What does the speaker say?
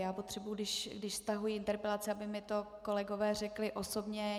Já potřebují, když stahuji interpelaci, aby mi to kolegové řekli osobně.